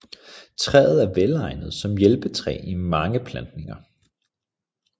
Træet er velegnet som hjælpetræ i mange plantninger